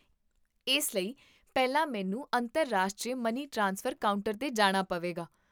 ਇਸ ਲਈ, ਪਹਿਲਾਂ ਮੈਨੂੰ ਅੰਤਰਰਾਸ਼ਟਰੀ ਮਨੀ ਟ੍ਰਾਂਸਫਰ ਕਾਊਂਟਰ 'ਤੇ ਜਾਣਾ ਪਵੇਗਾ?